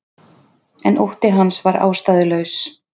En ótti hans var ástæðulaus.